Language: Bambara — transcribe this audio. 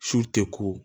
Su tɛ ko